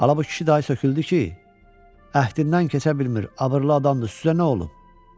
Ala bu kişi dayı söküldü ki, əhdindən keçə bilmir, abırlı adamdır, sizə nə olub?